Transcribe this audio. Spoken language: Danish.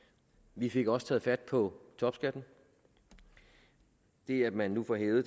vi fik også taget fat på topskatten det at man nu får hævet